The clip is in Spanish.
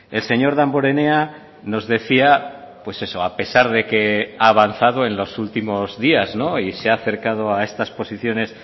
el señor damborenea nos decía pues eso a pesar de que ha avanzado en los últimos días y se ha acercado a estas posiciones